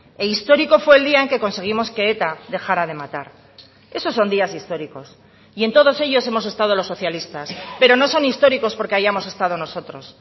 e histórico fue el día en que conseguimos que eta dejara de matar esos son días históricos y en todos ellos hemos estado los socialistas pero no son históricos porque hayamos estado nosotros